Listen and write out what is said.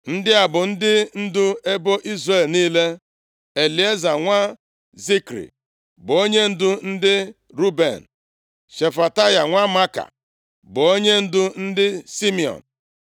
Ndị a bụ ndị ndu ebo Izrel niile: Elieza nwa Zikri bụ onyendu ndị Ruben; Shefataya nwa Maaka bụ onyendu ndị Simiọn;